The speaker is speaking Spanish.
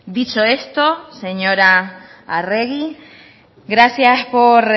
dicho esto señora arregi gracias por